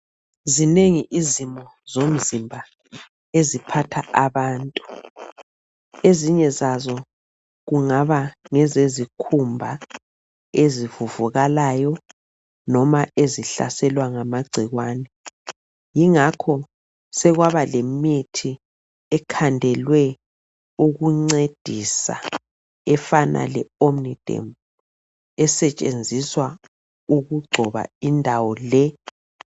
Zinengi izimo zomzimba eziphatha abantu. Ezinye zazo kungaba ngezezikhumba ezivuvukalayo noba ezihlaselwa ngamagcikwane. Ingakho sekwaba lemithi ekhandelwe ukuncedisa efana le omniderm esetshenziswa ukugcoba indawo le.